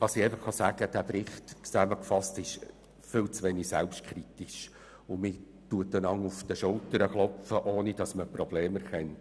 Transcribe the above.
Dieser Bericht ist insgesamt viel zu wenig selbstkritisch, und man klopft sich gegenseitig auf die Schultern, ohne die Probleme zu erkennen.